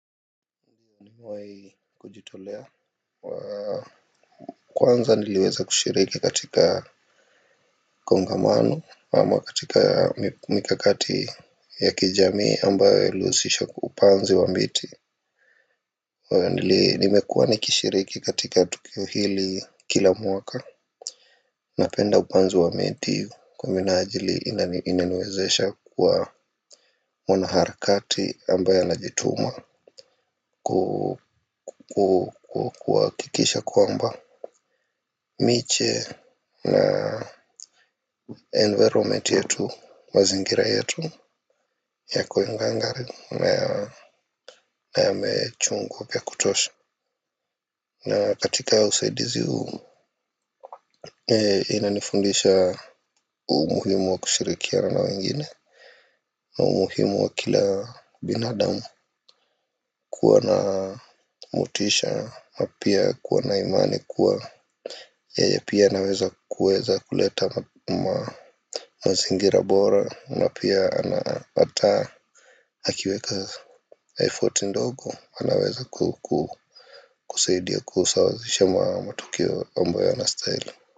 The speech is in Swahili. Nimewai kujitolea wa kwanza niliweza kushiriki katika kongamano ama katika mikakati ya kijamii ambayo yalihusisha upanzi wa miti wa nili nimekuwa nikishiriki katika tukio hili kila mwaka napenda upanzi wa miti kwa minajili ina inaniwezesha kuwa mwanaharakati ambaye anajituma ku kuhakikisha kwamba miche na environment yetu, mazingira yetu ya koingangari na yamechungu vya kutosha. Na katika usaidizi huu inanifundisha umuhimu wa kushirikiana wengine. Na umuhimu wa kila binadamu kuwa na motisha na pia kuwa na imani kuwa yeye pia anaweza kuweza kuleta mazingira bora. Na pia anaataa akiweka effort ndogo. Anaweza kusaidia kusawazisha matukoe ambayo yanastahili.